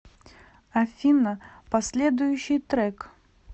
афина последующий трек